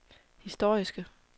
historiske